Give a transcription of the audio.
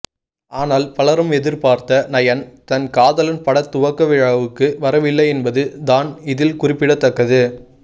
ஆனால் பலரும் எதிர்பார்த்த நயன் தன் காதலன் பட துவக்க விழாவுக்கு வரவில்லை என்பது தான் இதில் குறிப்பிடத்தக்கது